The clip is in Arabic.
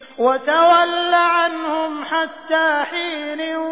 وَتَوَلَّ عَنْهُمْ حَتَّىٰ حِينٍ